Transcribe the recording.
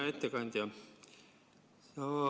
Hea ettekandja!